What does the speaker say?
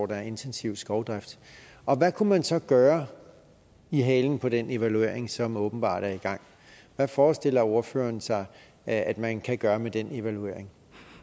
der er intensiv skovdrift og hvad kunne man så gøre i halen på den evaluering som åbenbart er i gang hvad forestiller ordføreren sig at man kan gøre med den evaluering